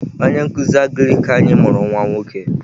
Onye nkuzi Agrik anyi mụrụ nwa nwoke.